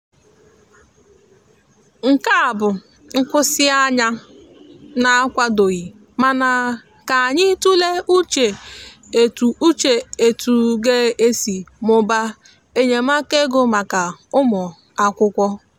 nkea bụ nkwụsi anya na akwado ghi mana ka anyi tule uche etu uche etu ga esi mụbaa enyemaka ego maka ụmụ akwụkwo.